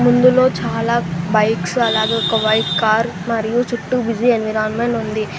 ఇందులో చాలా బైక్స్ అలాగే ఒక వైట్ కార్ మరియు చుట్టూ బిజీ ఎన్విరాన్మెంట్ ఉంది.